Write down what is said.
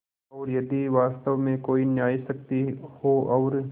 और यदि वास्तव में कोई न्यायशक्ति हो और